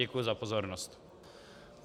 Děkuji za pozornost.